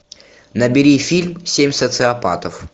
набери фильм семь социопатов